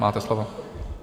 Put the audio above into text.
Máte slovo.